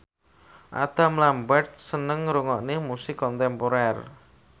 Adam Lambert seneng ngrungokne musik kontemporer